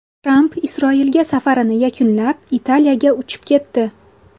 Tramp Isroilga safarini yakunlab, Italiyaga uchib ketdi.